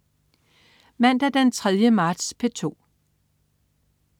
Mandag den 3. marts - P2: